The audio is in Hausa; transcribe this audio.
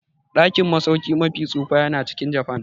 Dakin masauki mafi tsufa yana cikin Japan.